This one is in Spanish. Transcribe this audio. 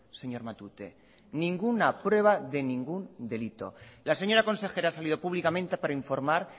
señor matute la señora consejera ha salido públicamente para informar